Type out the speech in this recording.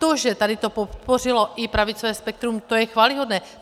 To, že tady to podpořilo i pravicové spektrum, to je chvályhodné.